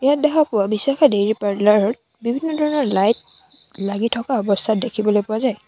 ইয়াত দেখা পোৱা বিশাখা ডেইৰী পাৰ্লাৰ ত বিভিন্ন ধৰণৰ লাইট লাগি থকা অৱস্থাত দেখিবলৈ পোৱা যায়।